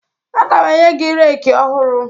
Aga m enye gị reeki ọhụrụ